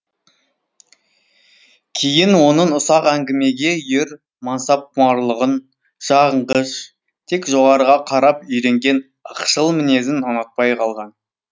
кейін оның ұсақ әңгімеге үйір мансапқұмарлығын жағынғыш тек жоғарыға қарап үйренген ықшыл мінезін ұнатпай қалған